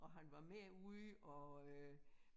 Og han var med ude og øh